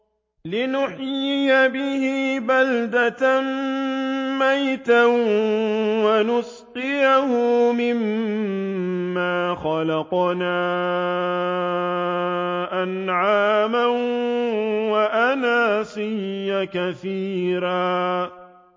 لِّنُحْيِيَ بِهِ بَلْدَةً مَّيْتًا وَنُسْقِيَهُ مِمَّا خَلَقْنَا أَنْعَامًا وَأَنَاسِيَّ كَثِيرًا